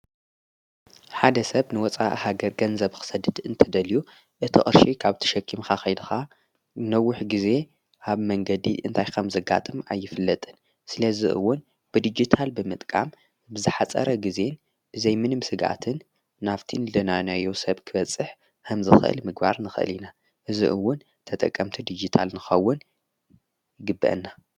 ሓደ ሰብ ንወፃ ሃገር ገንዘብ ኽሰድድ እንተደልዩ እቲ ቕርሺ ካብ ትሸኪምካኸይድኻ ነውኅ ጊዜ ሃብ መንገዲ እንታይ ከም ዘጋጥም ኣይፍለጥን ስለ ዝእውን ብዲጊታል ብመጥቃም ብዛኃፀረ ጊዜን ብዘይ ምንም ሥጋትን ናፍቲን ደናነያ ዮሴብ ክበጽሕ ሕምዚ ኽእል ምግባር ንኽእል ኢና እዝእውን ተጠቀምቲ ዲጊታል ንኸውን ይግብአና።